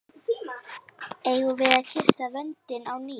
Eigum við að kyssa vöndinn á ný?